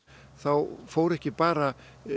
þá fór ekki bara